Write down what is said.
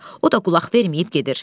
O da qulaq verməyib gedir.